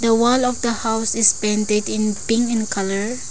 the wall of the house is painted in pink in colour.